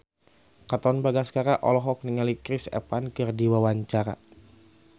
Katon Bagaskara olohok ningali Chris Evans keur diwawancara